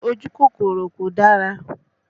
Ojú kòkòrò kò dára